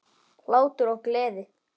Hlátur og gleði.